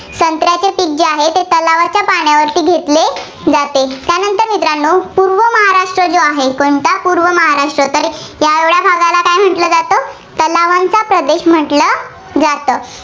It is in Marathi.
संत्र्याचे पीक जे आहे, ते तलावाच्या पाण्यावरती घेतले जाते. त्यानंतर मित्रांनो पूर्व महाराष्ट्र जो आहे, कोणता पूर्व महाराष्ट्र तर या भागाला काय म्हंटलं जातं तलावांचा प्रदेश म्हटलं जातं.